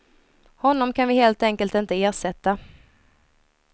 Honom kan vi helt enkelt inte ersätta.